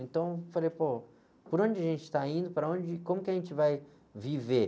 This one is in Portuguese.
Então, eu falei, pô, por onde a gente tá indo, para onde, e como que a gente vai viver?